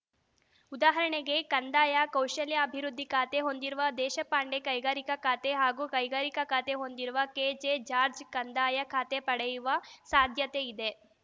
ಉದಾಹರಣೆಗೆ ಕಂದಾಯ ಕೌಶಲ್ಯಾಭಿವೃದ್ಧಿ ಖಾತೆ ಹೊಂದಿರುವ ದೇಶಪಾಂಡೆ ಕೈಗಾರಿಕಾ ಖಾತೆ ಹಾಗೂ ಕೈಗಾರಿಕಾ ಖಾತೆ ಹೊಂದಿರುವ ಕೆಜೆಜಾರ್ಜ್ ಕಂದಾಯ ಖಾತೆ ಪಡೆಯುವ ಸಾಧ್ಯತೆ ಇದೆ